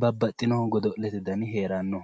babbaxittinnohu godo'lete dani heeranno